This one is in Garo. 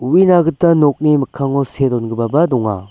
u·ina gita nokni mikkango see dongipaba donga.